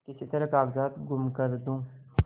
किसी तरह कागजात गुम कर दूँ